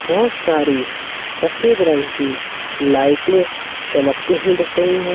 बहोत सारी सफेद रंग की लाइटे चमकती हुई दिख रही हैं।